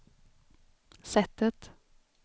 sättet